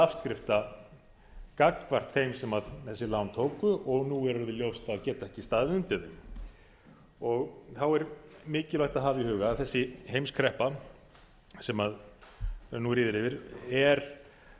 afskrifta gagnvart þeim sem þessi lán tóku og nú er ljóst að geta ekki staðið undir þeim þá er mikilvægt að hafa í huga að þessi heimskreppa sem nú ríður yfir hefur